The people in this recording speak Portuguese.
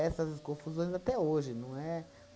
confusões até hoje, não é